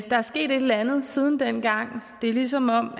der er sket et eller andet siden dengang det er som om